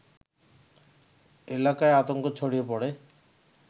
এলাকায় আতঙ্ক ছড়িয়ে পড়ে